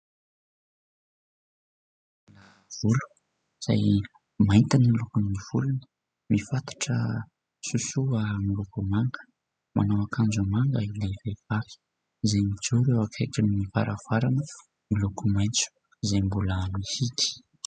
Volo izay mainty ny lokon'ny volony mifatotra sosoa miloko manga, manao akanjo manga ilay vehivahy, izay mijoro eo akaikin'ny varavarana miloko maitso izay mbola mihidy.